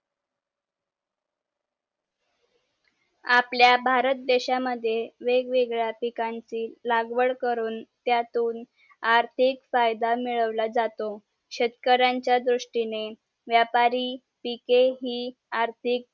आपल्या भारत देशा मद्ये वेगवेगळ्या पिकांची लागवड करून आर्थिक फायदा मिळवला जातो शेतकऱ्यांचा दृष्टिने व्यापारी पके हि आर्थिक